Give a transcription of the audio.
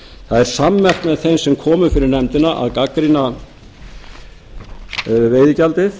það er sammerkt með þeim sem komu fyrir nefndina að gagnrýna veiðigjaldið